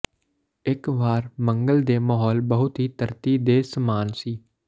ਇੱਕ ਵਾਰ ਮੰਗਲ ਦੇ ਮਾਹੌਲ ਬਹੁਤ ਹੀ ਧਰਤੀ ਦੇ ਸਮਾਨ ਸੀ